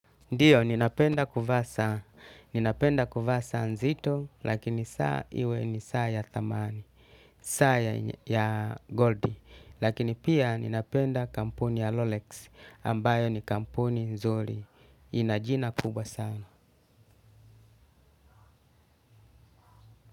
Ndiyo, ninapenda kuvaa saa, ninapenda kuvaa saa nzito, lakini saa iwe ni saa ya thamani, saa ya gold, lakini pia ninapenda kampuni ya Rolex, ambayo ni kampuni nzuri, ina jina kubwa sana.